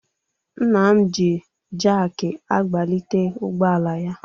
Nna m ji jakị agbalite ụgbọala ya.